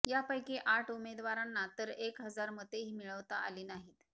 यापैकी आठ उमेदवारांना तर एक हजार मतेही मिळविता आली नाहीत